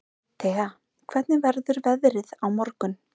Thea, hvernig verður veðrið á morgun?